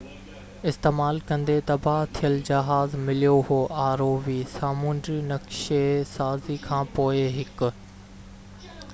سامونڊي نَقشي سازي کان پوءِ هڪ rov استعمال ڪندي تباهه ٿيل جهاز مليو هو